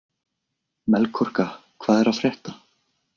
Melkorka, hvað er að frétta?